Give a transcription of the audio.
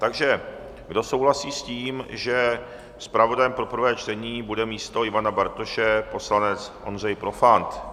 Takže kdo souhlasí s tím, že zpravodajem pro prvé čtení bude místo Ivana Bartoše poslanec Ondřej Profant?